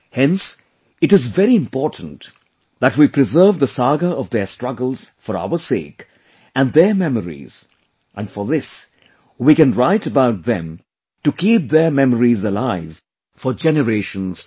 Hence it is very important that we preserve the saga of their struggles for our sake and their memories and for this we can write about them to keep their memories alive for generations to come